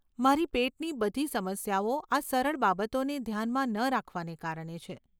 મારી પેટની બધી સમસ્યાઓ આ સરળ બાબતોને ધ્યાનમાં ન રાખવાને કારણે છે.